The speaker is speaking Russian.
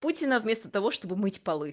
путина вместо того чтобы мыть полы